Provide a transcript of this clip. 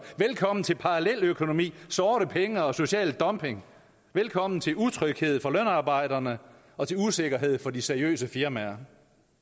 velkommen til paralleløkonomi sorte penge og social dumping velkommen til utryghed for lønarbejderne og til usikkerhed for de seriøse firmaer